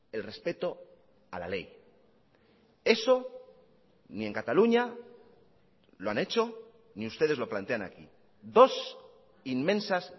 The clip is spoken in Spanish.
el respeto a la ley eso ni en cataluña lo han hecho ni ustedes lo plantean aquí dos inmensas